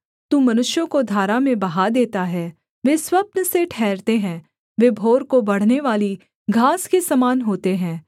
तू मनुष्यों को धारा में बहा देता है वे स्वप्न से ठहरते हैं वे भोर को बढ़नेवाली घास के समान होते हैं